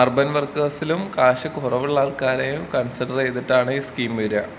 Urban വർക്കേഴ്സിലും cash കൊറവുള്ള ആള് ക്കാരെയും കൺസിഡറീതിട്ടാണ് ഈ സ് കീം വര.